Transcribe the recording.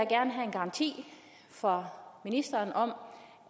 garanti fra ministeren om